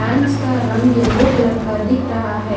Fans का रंग yellow colour का दिख रहा है।